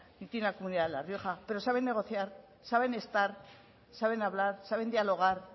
ni tiene la comunidad de la rioja pero saben negociar saben estar saben hablar saben dialogar